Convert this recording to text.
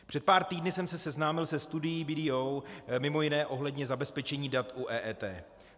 Před pár týdny jsem se seznámil se studií BDO, mimo jiné ohledně zabezpečení dat u EET.